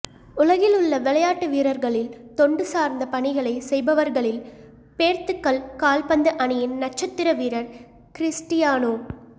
உலகில் உள்ள விளையாட்டு வீரர்களில் தொண்டு சார்ந்த பணிகளை செய்பவர்களில் பேர்த்துக்கல் கால்பந்து அணியின் நட்சத்திர வீரர் கிறிஸ்டியானோ